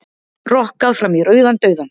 Rokkað fram í rauðan dauðann